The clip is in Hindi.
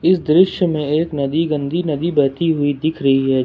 इस दृश्य में एक नदी गंदी नदी बहती हुई दिख रही है।